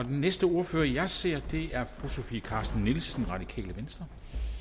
den næste ordfører jeg ser er fru sofie carsten nielsen radikale venstre